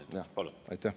Kaks minutit, palun!